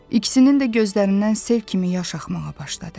İkisinin də gözlərindən sel kimi yaş axmağa başladı.